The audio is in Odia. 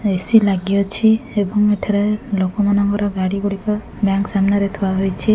ଏ_ସି ଲାଗି ଅଛି ଏବଂ ଏଠାରେ ଲୋକମାନଙ୍କର ଗାଡି ଗୁଡିକ ବ୍ୟାଙ୍କ୍ ସାମ୍ନାରେ ଥୁଆ ହୋଇଛି।